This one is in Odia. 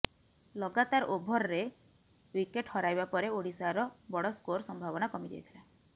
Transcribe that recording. ଲଗାତାର ଓଭରରେ ୱିକେଟ୍ ହରାଇବା ପରେ ଓଡ଼ିଶାର ବଡ଼ ସ୍କୋର ସମ୍ଭାବନା କମିଯାଇଥିଲା